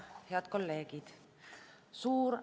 Head kolleegid!